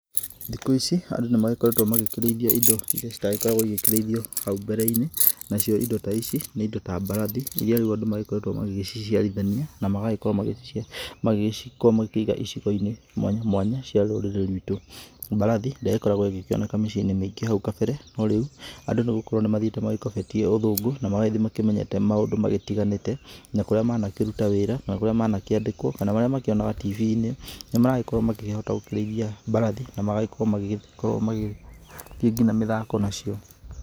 Thikũ ici andũ nĩ magĩkoretwo magĩkĩrĩithia indo iria citagĩkoragwo igĩkĩrithio hau mbere-inĩ, nacio indo ici nĩ indo ta mbarathi iria andũ rĩu makoretwo magĩciciarithania, na magagĩkorwo magĩciga icigo-inĩ mwanya mwanya cia rũrĩrĩ rwitũ. Mbarathi ndĩragĩkoragwo ĩgĩkĩoneka mĩciĩ-inĩ mĩingĩ hau kabere no rĩu andũ gũkorwo nĩ magĩthite magĩkobetie ũthũngũ na magagĩthiĩ makĩmenyete maũndũ magĩtiganĩte, na kũrĩa manakĩruta wĩra na kũrĩa manakĩandĩkwo kana marĩa makĩonaga TV-inĩ, nĩ maragĩkorwo gũkĩhota kũrĩithia mbarathi na magagĩkorwo magĩkorwo magĩthiĩ mĩthako nacio.